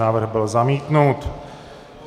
Návrh byl zamítnut.